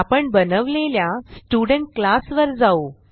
आपण बनवलेल्या student class वर जाऊ